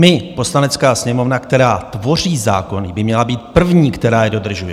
My, Poslanecká sněmovna, která tvoří zákony, by měla být první, která je dodržuje.